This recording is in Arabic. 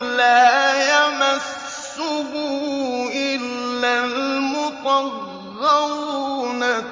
لَّا يَمَسُّهُ إِلَّا الْمُطَهَّرُونَ